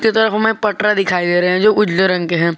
पटरा दिखाई दे रहा है जो उजले रंग के है।